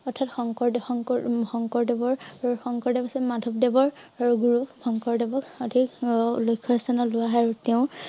অৰ্থাৎ শংকৰ~শংকৰ~শংকৰদেৱৰ শংকৰদেৱৰ পাছত মাধৱদেৱৰ আৰু গুৰু শংকৰদেৱক অধিক উল্লেখ্য স্থানত লোৱা হয় আৰু তেওঁ